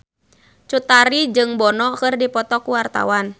Cut Tari jeung Bono keur dipoto ku wartawan